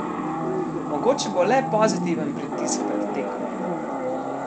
Mogoče bo le pozitiven pritisk pred tekmo.